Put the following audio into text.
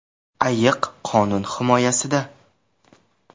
Ayiq qonun himoyasida.